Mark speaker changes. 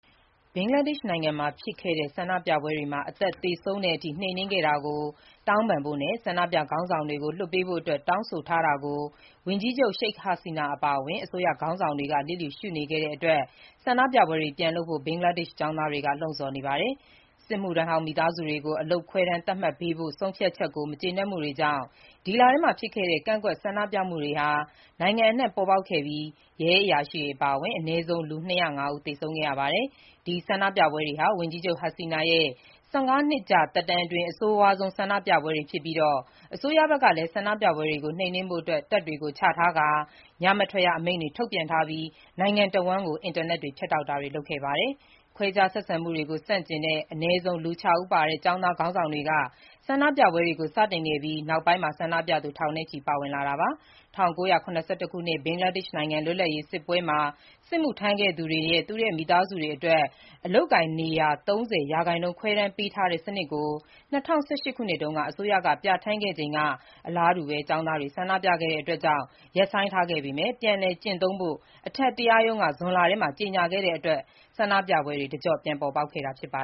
Speaker 1: ဘင်္ဂလားဒေ့ရှ် နိုင်ငံမှာဖြစ်ခဲ့တဲ့ ဆန္ဒပြပွဲတွေမှာ အသက်သေဆုံးတဲ့အထိ နှိမ်နင်းခဲ့တာကို တောင်းပန်ဖို့နဲ့ ဆန္ဒပြခေါင်းဆောင်တွေကို လွှတ်ပေးဖို့အတွက် တောင်းဆိုထားတာကို ဝန်ကြီးချုပ် Sheikh Hasina အပါအဝင် အစိုးရ ခေါင်းဆောင်တွေက လျစ်လျူရှုနေတဲ့အတွက် ဆန္ဒပြပွဲတွေ ပြန်လုပ်ဖို့ ဘင်္ဂလားဒေ့ရှ် ကျောင်းသားတွေက လှုံ့ဆော်နေပါတယ်။ စစ်မှုထမ်းဟောင်းမိသားစုတွေကို အလုပ်ခွဲတမ်းသတ်မှတ်ပေးဖို့ ဆုံးဖြတ်ချက်ကို မကျေနပ်မှုတွေကြောင့် ဒီလထဲမှာ ဖြစ်ခဲ့တဲ့ ကန့်ကွက်ဆန္ဒပြမှုတွေဟာ နိုင်ငံအနှံ့ပေါ်ပေါက်ခဲ့ပြီး ရဲအရာရှိတွေ အပါအဝင် အနည်းဆုံး လူ၂၀၅ ဦး သေဆုံးခဲ့ရပါတယ်။ ဒီဆန္ဒပြပွဲတွေဟာ ဝန်ကြီးချုပ် Hasina ရဲ့ ၁၅ နှစ်ကြာ သက်တမ်းအတွင်း အဆိုးဝါးဆုံးဆန္ဒပြပွဲတွေဖြစ်ပြီး၊ အစိုးရဘက်ကလည်း ဆန္ဒပြပွဲတွေကို နှိမ်နင်းဖို့အတွက် တပ်တွေကိုချထားကာ၊ ညမထွက်ရ အမိန့်ထုတ်ပြန်ပြီး၊ နိုင်ငံတဝန်း အင်တာနက် ဖြတ်တောက်တာတွေ လုပ်ခဲ့ပါတယ်။ ခွဲခြားဆက်ဆံမှုတွေကိုဆန့်ကျင်တဲ့ အနည်းဆုံး လူ ၆ ဦးပါတဲ့ ကျောင်းသားခေါင်းဆောင် တွေက ဆန္ဒပြပွဲတွေကို စတင်ခဲ့ပြီး နောက်ပိုင်းမှာ ဆန္ဒပြသူထောင်နဲ့ချီ ပါဝင်လာတာပါ။ ၁၉၇၁ ခုနှစ် ဘင်္ဂလားဒေ့ရှ်နိုင်ငံ လွတ်လပ်ရေးစစ်ပွဲမှာ စစ်မှုထမ်းခဲ့သူတွေရဲ့ မိသားစုဝင်တွေအတွက် အလုပ်အကိုင်နေရာ ၃၀ ရာခိုင်နှုန်း ခွဲတမ်းပေးထားတဲ့စနစ်ကို ၂၀၁၈ ခုနှစ်တုန်းက အစိုးရက ပြဌာန်းခဲ့ချိန်က အလားတူ ကျောင်းသားတွေ ဆန္ဒပြခဲ့တာကြောင့် ရပ်ဆိုင်းထားခဲ့ပေမဲ့ ပြန်လည်ကျင့်သုံးဖို့ အထက်တရားရုံးက ဇွန်လထဲမှာ ကြေညာခဲ့တာကြောင့် ဆန္ဒပြပွဲတွေ တကျော့ပြန်ပေါ်ပေါက်ခဲ့တာပါ